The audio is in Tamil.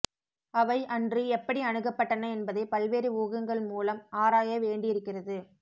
அவை அன்று எப்படி அணுகப்பட்டன என்பதை பல்வேரு ஊகங்கள் மூலம் ஆராயவேண்டியிருக்கிறது